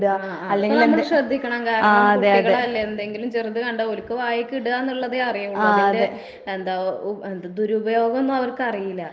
ആഹ് ആഹ് ഇപ്പ നമ്മള് ശ്രദ്ധിക്കണം. കാരണം കുട്ടികളല്ലേ എന്തെങ്കിലും ചെറുത് കണ്ടാ ഓല്ക്ക് വായിക്കിട്കാന്നുള്ളതേ അറിയുള്ളു. അല്ലാണ്ട് എന്താ ഉ എന്താ ദുരുപയോഗോന്നും അവർക്കറിയില്ല.